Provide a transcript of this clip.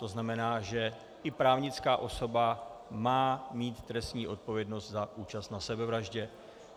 To znamená, že i právnická osoba má mít trestní odpovědnost za účast na sebevraždě.